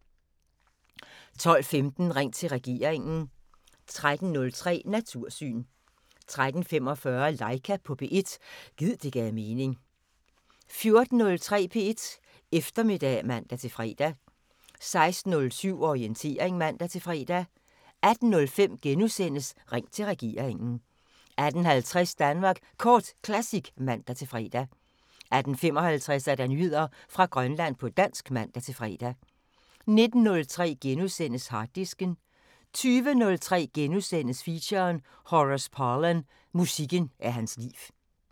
12:15: Ring til regeringen 13:03: Natursyn 13:45: Laika på P1 – gid det gav mening 14:03: P1 Eftermiddag (man-fre) 16:07: Orientering (man-fre) 18:05: Ring til regeringen * 18:50: Danmark Kort Classic (man-fre) 18:55: Nyheder fra Grønland på dansk (man-fre) 19:03: Harddisken * 20:03: Feature: Horace Parlan – musikken er hans liv *